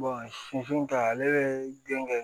sifin ta ale be den kɛ